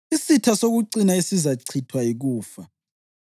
Isitha sokucina esizachithwa, yikufa.